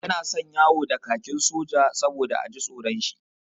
Yana son yawo da kakin soja saboda a ji tsoron shi.